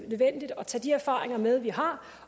tage de erfaringer med vi har